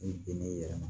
I bin n'i yɛrɛ ma